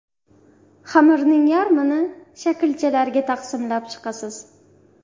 Xamirning yarmini shaklchalarga taqsimlab chiqasiz.